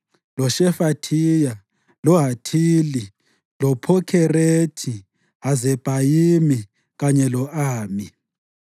loShefathiya, loHathili, loPhokherethi-Hazebhayimi kanye lo-Ami.